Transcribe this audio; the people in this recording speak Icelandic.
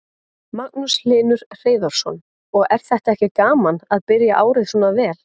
Magnús Hlynur Hreiðarsson: Og er þetta ekki gaman að byrja árið svona vel?